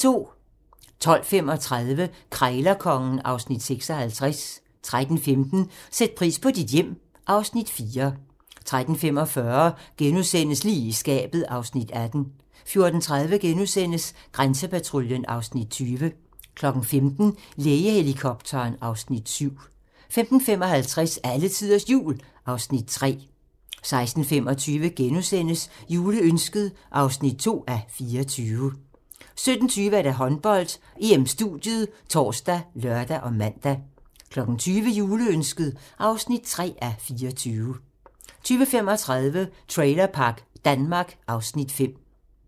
12:35: Krejlerkongen (Afs. 56) 13:15: Sæt pris på dit hjem (Afs. 4) 13:45: Lige i skabet (Afs. 18)* 14:30: Grænsepatruljen (Afs. 20)* 15:00: Lægehelikopteren (Afs. 7) 15:55: Alletiders Jul (Afs. 3) 16:25: Juleønsket (2:24)* 17:20: Håndbold: EM-studiet ( tor, lør, man) 20:00: Juleønsket (3:24) 20:35: Trailerpark Danmark (Afs. 5)